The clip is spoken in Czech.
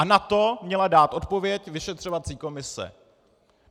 A na to měla dát odpověď vyšetřovací komise.